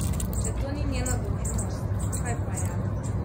Če to ni njena dolžnost, kaj pa je?